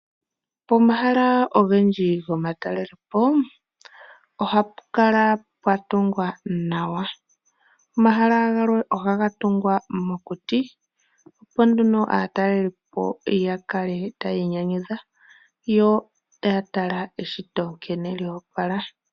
Pomahala ogendji gomatalelepo ohapu kala pwa tungwa nawa. omahala galwe ohaga tungwa mokuti opo nduno aatalelipo yakale taya inyanyudha yo taya tala eshito nkene lyo opala.